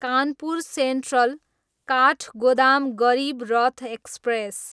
Kanpur central, Kathgodam Garib Rath express